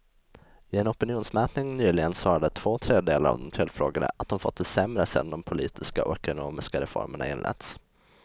I en opinionsmätning nyligen svarade två tredjedelar av de tillfrågade att de fått det sämre sedan de politiska och ekonomiska reformerna inletts.